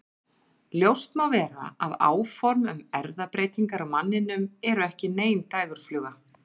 Ljóst má vera að áform um erfðabreytingar á manninum eru ekki nein dægurfluga.